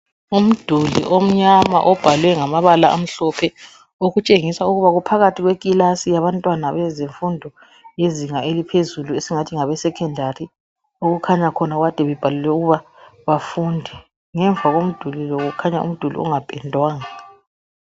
Umduli. omnyama obhalwe ngamabala amhlophe okutshengisa ukuba kuphakathi kwekilasi yabantwana bezifundo yezinga iliphezulu esingathi ngabesekhondari okukhanya khona kade bebhalelwe ukuba bafunda ngemva komduli kukhanya umduli ongapendwanga.